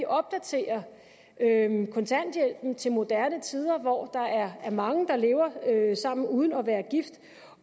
opdaterer kontanthjælpen til moderne tider hvor der er mange der lever sammen uden at være gift